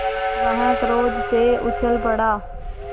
वह क्रोध से उछल पड़ा